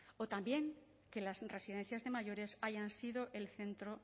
o también que las residencias de mayores hayan sido el centro